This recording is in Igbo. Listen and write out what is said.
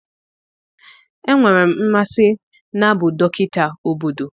Enwere m mmasị n'abụ dọkịta obodo